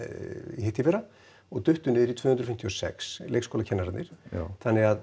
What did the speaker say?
hitteðfyrra og duttu niður í tvö hundruð fimmtíu og sex leikskólakennararnir þannig að